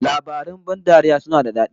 Labarin ban dariya suna da dadi